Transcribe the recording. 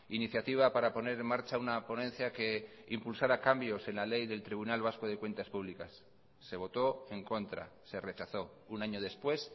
iniciativa para poner en marcha una ponencia que impulsara cambios en la ley del tribunal vasco de cuentas públicas se votó en contra se rechazó un año después